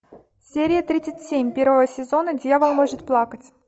серия тридцать семь первого сезона дьявол может плакать